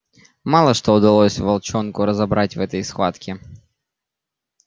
мало что удалось волчонку разобрать в этой схватке